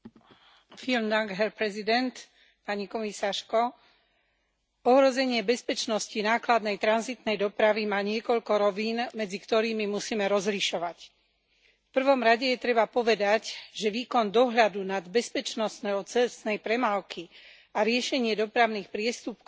Vážený pán predsedajúci, ohrozenie bezpečnosti nákladnej tranzitnej dopravy má niekoľko rovín, medzi ktorými musíme rozlišovať. V prvom rade treba povedať, že výkon dohľadu nad bezpečnosťou cestnej premávky a riešenie dopravných priestupkov,